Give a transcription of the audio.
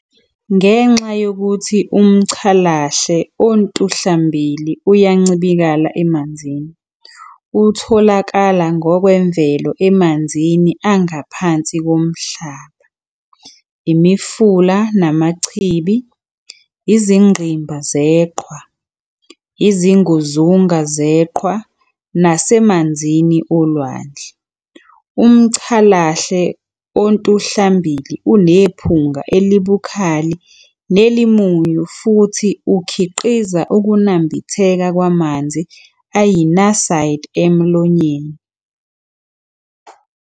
Ngenxa yokuthi umCalahle ontuhlambili uyancibilika emanzini, utholakala ngokwemvelo emanzini angaphansi komhlaba, imifula namachibi, izingqimba zeqhwa, izinguzunga zeqhwa nasemanzini olwandle. Umcalahle ontuhlambili unephunga elibukhali nelimunyu futhi ukhiqiza ukunambitheka kwamanzi ayiNaside emlonyeni.